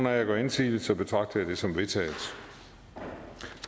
jer gør indsigelse betragter jeg det som vedtaget